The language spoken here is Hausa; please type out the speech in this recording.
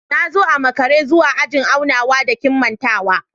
Na zo a makara zuwa ajin aunawa da kimantawa